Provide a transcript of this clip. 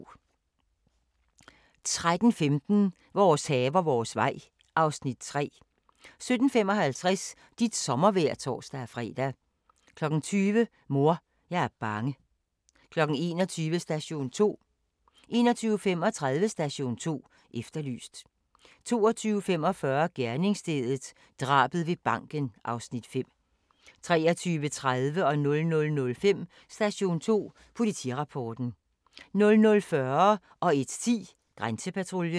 13:15: Vores haver, vores vej (Afs. 3) 17:55: Dit sommervejr (tor-fre) 20:00: Mor, jeg er bange 21:00: Station 2 21:35: Station 2 Efterlyst 22:45: Gerningsstedet – drabet ved banken (Afs. 5) 23:30: Station 2 Politirapporten 00:05: Station 2 Politirapporten 00:40: Grænsepatruljen 01:10: Grænsepatruljen